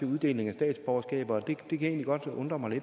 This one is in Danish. uddeling af statsborgerskab det kan egentlig godt undre mig